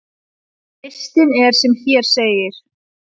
Listinn er sem hér segir: